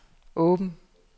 åben